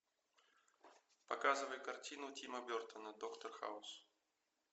показывай картину тима бертона доктор хаус